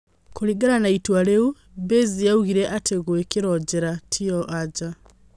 Kũrigana na itua rĩu, Baze yaugire atĩ gũikio njera tiyo anja.